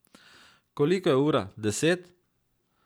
Koliko je ura, deset?